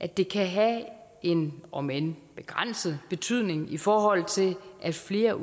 at det kan have en om end begrænset betydning i forhold til at flere